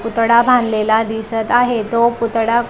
पुतळा बांधलेला दिसत आहे तो पुतळा--